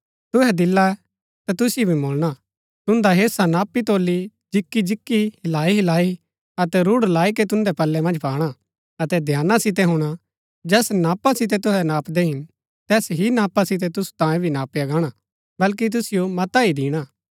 तुहै दिल्लै ता तुसिओ भी मुळणा तुन्दा हेसा नापीतोली जिकीजिकी हिलाईहिलाई अतै रूढ लाई के तुन्दै पल्लै मन्ज पाणा अतै ध्याना सितै हुणा जैस नापा सितै तुसै नापदै हिन तैस ही नापा सितै तुसु तांयें भी नापया गाणा बल्कि तुसिओ मता ही दिणा हा